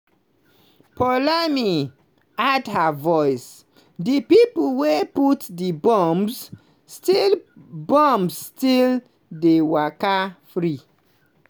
poulami add her voice: "di pipo wey put di bombs still bombs still dey waka free.